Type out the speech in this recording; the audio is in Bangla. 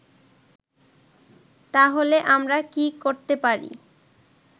তাহলে আমরা কি করতে পারি